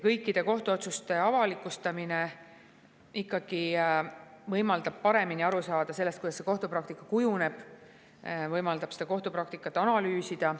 Kõikide kohtuotsuste avalikustamine ikkagi võimaldab paremini aru saada, kuidas kohtupraktika kujuneb, võimaldab kohtupraktikat analüüsida.